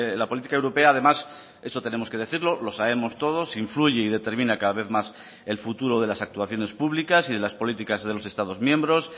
la política europea además eso tenemos que decirlo lo sabemos todos influye y determina cada vez más el futuro de las actuaciones públicas y de las políticas de los estados miembros